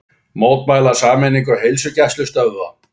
Mótmæla sameiningu heilsugæslustöðva